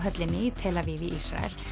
höllinni í tel Aviv í Ísrael